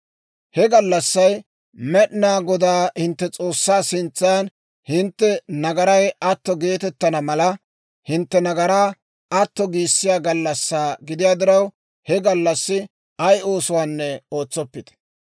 He gallassay Med'inaa Godaa hintte S'oossaa sintsan hintte nagaray atto geetettana mala, hintte nagaraa atto giissiyaa gallassaa gidiyaa diraw, he gallassi ay oosuwaanne ootsoppite.